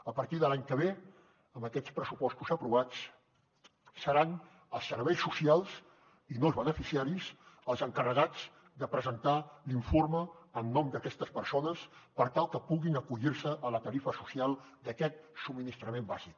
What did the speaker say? a partir de l’any que ve amb aquests pressupostos aprovats seran els serveis socials i no els beneficiaris els encarregats de presentar l’informe en nom d’aquestes persones per tal que puguin acollir se a la tarifa social d’aquest subministrament bàsic